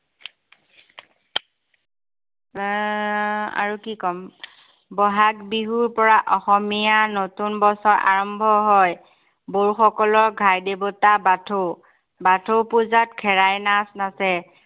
আৰু কি কম। বহাগ বিহুৰ পৰা অসমীয়া নতুন বছৰ আৰম্ভ হয়। বড়ো সকলৰ ঘাই দেৱতা বাথৌ। বাথৌ পূজাত খেৰাই নাচ নাছে।